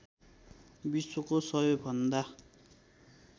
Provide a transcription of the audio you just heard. विश्वको सबैभन्दा